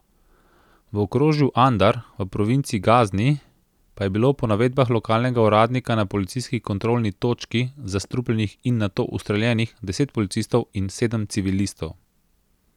V okrožju Andar v provinci Gazni pa je bilo po navedbah lokalnega uradnika na policijski kontrolni točki zastrupljenih in nato ustreljenih deset policistov in sedem civilistov.